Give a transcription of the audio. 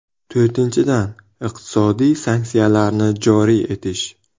To‘rtinchidan, iqtisodiy sanksiyalarni joriy etish.